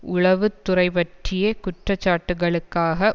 உளவுத்துறைபற்றிய குற்றச்சாட்டுக்களுக்காக